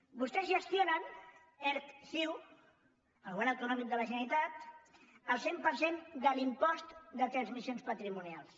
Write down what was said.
vostès gestionen erc ciu el govern autonòmic de la generalitat el cent per cent de l’impost de transmissions patrimonials